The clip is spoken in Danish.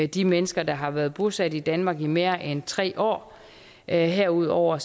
de mennesker der har været bosat i danmark i mere end tre år herudover